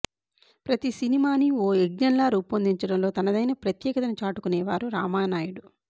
ప్రతి సినిమానీ ఓ యజ్ఞంలా రూపొందించడంలో తనదైన ప్రత్యేకతను చాటుకునేవారు రామానాయుడు